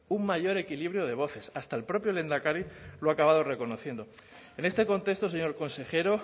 un mayor equilibrio de voces hasta el propio lehendakari lo ha acabado reconociendo en este contexto señor consejero